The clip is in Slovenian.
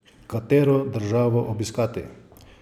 Katero državo obiskati?